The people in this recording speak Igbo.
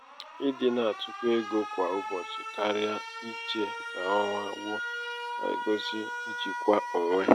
ịdị na-atụkọ ego kwa ụbọchị karịa ichè ka ọnwa gwụ na-egosi ijikwa onwe.